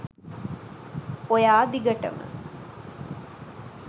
ඔයා දිගටම